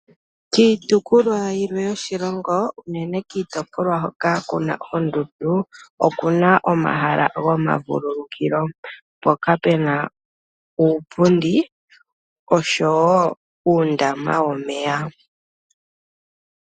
Kiitopolwa yimwe yoshilongo, unene kiitopolwa hoka kuna oondundu okuna omahala gomavululukilo, mpoka puna uupundi oshowo uundama womeya.